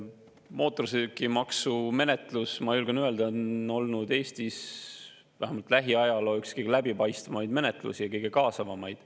Mootorsõidukimaksu menetlus, ma julgen öelda, on olnud Eestis vähemalt lähiajaloos üks kõige läbipaistvamaid menetlusi, kõige kaasavamaid.